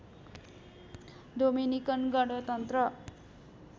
Dominican गणतन्त्र